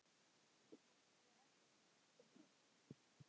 Hvort við ættum vín?